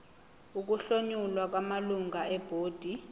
ukuhlomula kwamalungu ebhodi